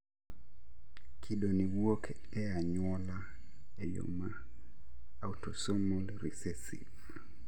Kido ni wuok e anyuola e yo ma autosomal recessive